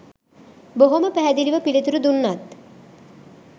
බොහොම පැහැදිලිව පිළිතුරු දුන්නත්